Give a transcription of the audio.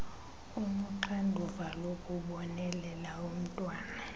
onoxanduva lokubonelela umntwana